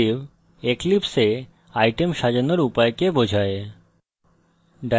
perspective eclipse a items সাজানোর উপায়কে বোঝায়